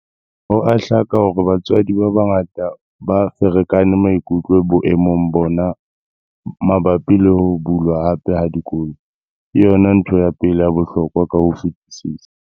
Ho a hlaka hore batswadi ba bangata ba ferekane maikutlo boemong bona mabapi le ho bulwa hape ha dikolo. Ke yona ntho ya pele ya bohlokwa ka ho fetisisa.